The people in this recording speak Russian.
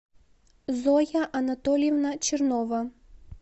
зоя анатольевна чернова